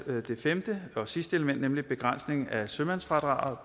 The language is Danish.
det femte og sidste element nemlig begrænsningen af sømandsfradraget